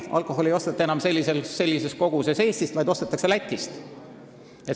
Alkoholi lihtsalt ei osteta sellises koguses enam Eestist, vaid seda ostetakse Lätist.